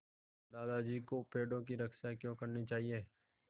दादाजी को पेड़ों की रक्षा क्यों करनी चाहिए